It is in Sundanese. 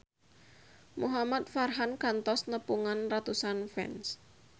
Muhamad Farhan kantos nepungan ratusan fans